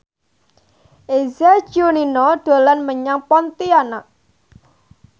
Eza Gionino dolan menyang Pontianak